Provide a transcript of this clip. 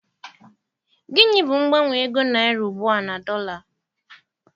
Gịnị bụ mgbanwe ego Naira ugbua na dọla?